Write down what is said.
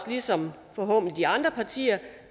ligesom de andre partier